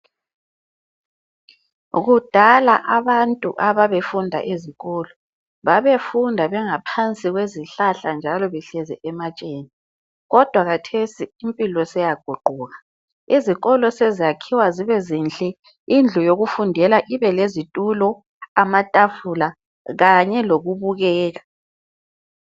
Kudala abantu ababefunda ezikolo babefunda bengaphansi kwezihlahla njalo behlezi ematsheni kodwa khathesi impilo seyaguquka izikolo sezakhiwa zibe zinhle. Indlu yokufundela ibe lezitulo, amatafula kanye lokubukeka.